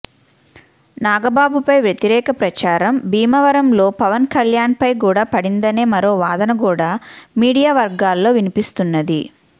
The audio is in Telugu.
నాగబాబుపై వ్యతిరేక ప్రచారం భీమవరంలో పవన్ కల్యాణ్పై కూడా పడిందనే మరో వాదన కూడా మీడియా వర్గాల్లో వినిపిస్తున్నది